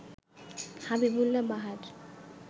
Habibullah Bahar